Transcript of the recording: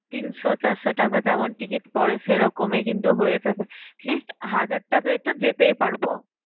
তিনশো চারশো টাকা যেমন ticket পরে সেইরকমই কিন্তু হয়ে যাবে, atleast হাজার টাকায় তো যেতে পারবো।